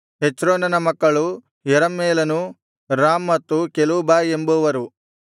ಹೆಚ್ರೋನನ ಮಕ್ಕಳು ಯೆರಹ್ಮೇಲನು ರಾಮ್ ಮತ್ತು ಕೆಲೂಬಾಯ್ ಎಂಬುವರು